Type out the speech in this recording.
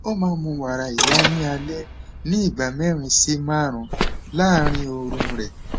ó máa ń mu wàrà ìyá ní alẹ ní ìgbà mẹrin sí márùnún láàárín oorun rẹ